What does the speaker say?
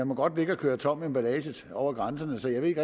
må ligge og køre tom emballage over grænserne så jeg ved ikke